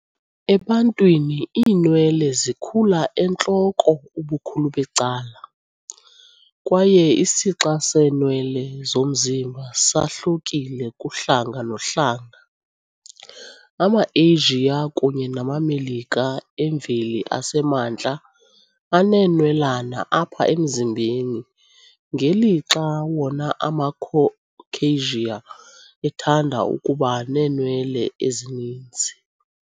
Ebantwini, iinwele zikhula entloko ubukhulu becala, kwaye isixa seenwele zomzimba sahlukile kuhlanga nohlanga. AmaAsia kunye namaMelika emveli asemantla aneenwelana apha emzimbeni, ngeli lixa wona amaCaucasia ethanda ukuba neenwele ezininzi.